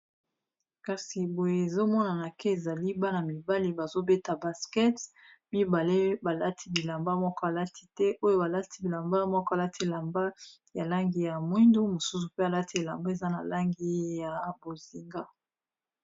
Kasi boye ezo monana ke ezali bana mibali bazobeta baskets mibale balati bilamba moko alati te oyo balati bilamba moko alati elamba ya langi ya mwindu, mosusu pe alati elamba eza na langi ya bozinga.